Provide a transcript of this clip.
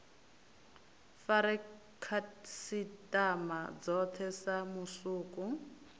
fare khasitama dzothe sa musuku